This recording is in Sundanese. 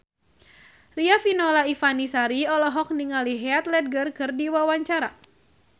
Riafinola Ifani Sari olohok ningali Heath Ledger keur diwawancara